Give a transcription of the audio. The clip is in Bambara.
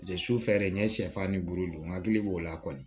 su fɛɛrɛ n ye sɛfan ni buru don n hakili b'o la kɔni